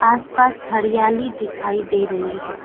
आसपास हरियाली दिखाई दे रही है।